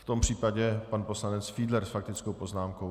V tom případě pan poslanec Fiedler s faktickou poznámkou.